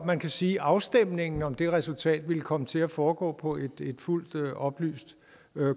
man kan sige at afstemningen om det resultat ville komme til at foregå på et fuldt oplyst